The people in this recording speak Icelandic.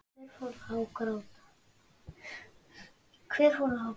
Miklar vangaveltur hafa einnig verið uppi um eðli sambands Jesú og Maríu Magdalenu.